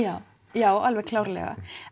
já alveg klárlega